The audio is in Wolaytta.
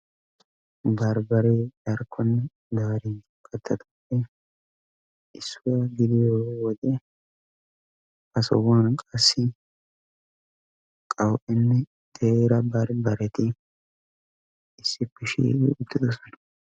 Barbbaree darkkon darinchchaan mokkiyaa katta gidiyoo wode Ha sohuwaan qassi qawu"enne teera barbbareti issippe shiiqqidi uttidosona.